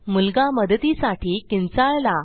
मुलगा मदतीसाठी किंचाळला